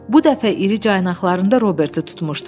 Bu dəfə iri caynaqlarında Robertu tutmuşdu.